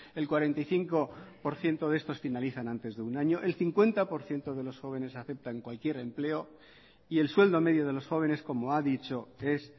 el cuarenta y cinco por ciento de estos finalizan antes de un año el cincuenta por ciento de los jóvenes aceptan cualquier empleo y el sueldo medio de los jóvenes como ha dicho es